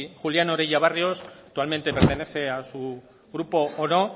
julián orella barrios actualmente pertenece a su grupo o no